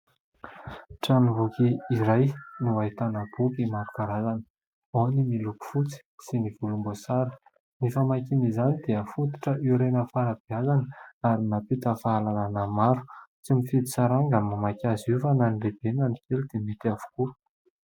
Tranom-boky iray no ahitana boky maro karazana ; ao ny miloko fotsy sy ny volomboasary. Ny famakiana izany dia fototra hiorenan'ny fanabeazana ary mampita fahalalàna maro, tsy mifidy saranga ny mamaky azy io fa na ny lehibe na ny kely dia mety avokoa.